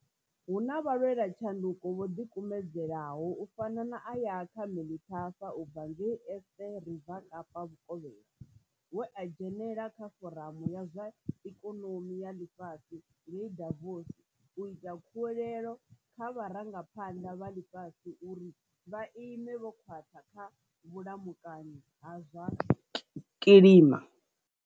Hu na vhalwelatshanduko vho ḓikumedzelaho u fana na Ayakha Melithafa u bva ngei Eerste Rivier Kapa Vhukovhela, we a dzhenela kha foramu ya zwa Ikonomi ya ḽifhasi ngei Davos u ita khuwelelo kha vharangaphanḓa vha ḽifhasi uri vha ime vho khwaṱha kha vhulamukanyi ha zwa kilima.